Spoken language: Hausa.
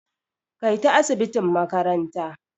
Kai ta asibitin makaranta.